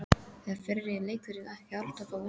Er fyrri leikurinn ekki alltaf á undan?